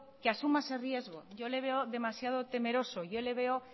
que asuma ese riesgo yo le veo demasiado temeroso yo le veo